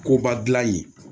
Koba dilan ye